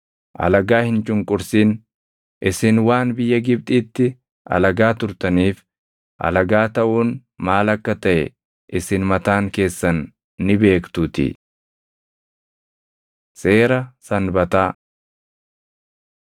“Alagaa hin cunqursin; isin waan biyya Gibxiitti alagaa turtaniif alagaa taʼuun maal akka taʼe isin mataan keessan ni beektuutii. Seera Sanbataa